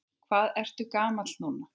Hvað ertu gamall núna?